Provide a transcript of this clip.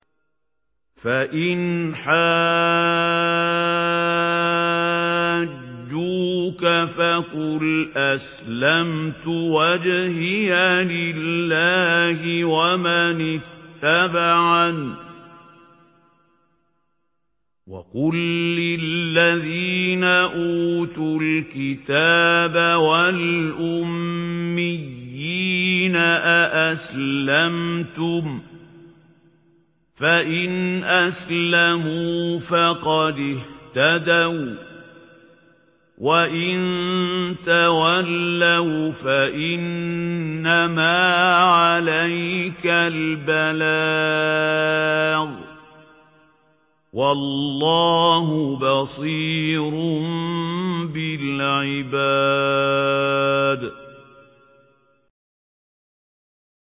فَإِنْ حَاجُّوكَ فَقُلْ أَسْلَمْتُ وَجْهِيَ لِلَّهِ وَمَنِ اتَّبَعَنِ ۗ وَقُل لِّلَّذِينَ أُوتُوا الْكِتَابَ وَالْأُمِّيِّينَ أَأَسْلَمْتُمْ ۚ فَإِنْ أَسْلَمُوا فَقَدِ اهْتَدَوا ۖ وَّإِن تَوَلَّوْا فَإِنَّمَا عَلَيْكَ الْبَلَاغُ ۗ وَاللَّهُ بَصِيرٌ بِالْعِبَادِ